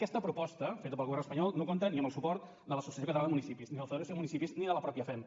aquesta proposta feta pel govern espanyol no compta ni amb el suport de l’associació catalana de municipis ni la federació de municipis ni de la mateixa femp